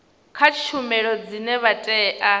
kha tshumelo dzine vha tea